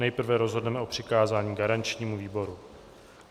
Nejprve rozhodneme o přikázání garančnímu výboru.